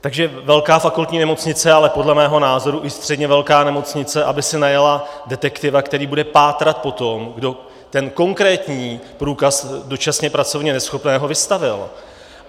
- takže velká fakultní nemocnice, ale podle mého názoru i středně velká nemocnice aby si najala detektiva, který bude pátrat po tom, kdo ten konkrétní průkaz dočasně pracovně neschopného vystavil.